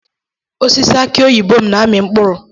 Osisi aki oyibo m na-amị mkpụrụ.